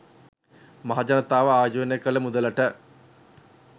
මහජනතාව ආයෝජනය කල මුදලට